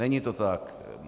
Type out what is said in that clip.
Není to tak.